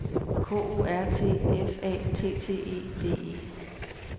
K O R T F A T T E D E